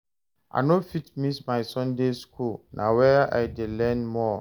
I no fit miss my Sunday school, na where I dey learn more.